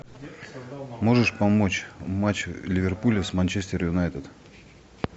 можешь помочь матч ливерпуль с манчестер юнайтед